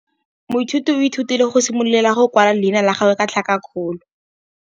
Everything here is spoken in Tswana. Moithuti o ithutile go simolola go kwala leina la gagwe ka tlhakakgolo.